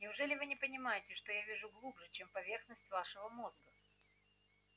неужели вы не понимаете что я вижу глубже чем поверхность вашего мозга